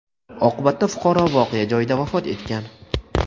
Oqibatda fuqaro voqea joyida vafot etgan.